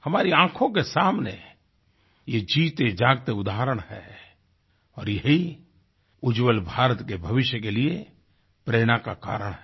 हमारी आँखों के सामने ये जीतेजागते उदहारण हैं और यही उज्ज्वल भारत के भविष्य के लिए प्रेरणा का कारण हैं